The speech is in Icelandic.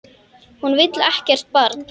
Hún vill ekkert barn.